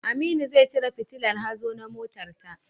Aminu zai cire fitillar hazo na motarta.